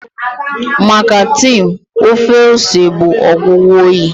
Maka Tim, ofe ose bụ ọgwụgwọ oyi